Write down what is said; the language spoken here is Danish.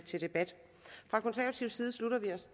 til debat fra konservativ side